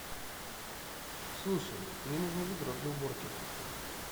слушай мне нужно ведро для уборки